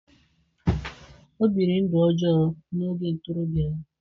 O biri ndụ ọjọọ n'oge ntorobịa ya.